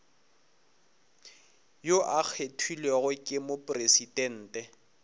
yo a kgethilwego ke mopresidente